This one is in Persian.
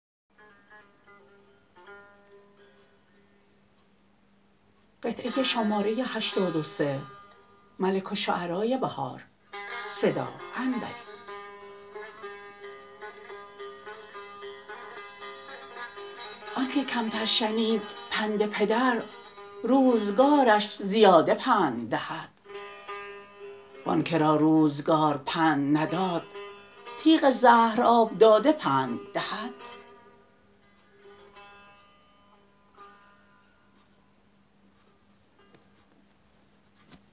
آن که کمتر شنید پند پدر روزگارش زیاده پند دهد وان که را روزگار پند نداد تیغ زهر آبداده پند دهد